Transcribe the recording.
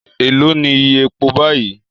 Èló ni iye epo báyìí?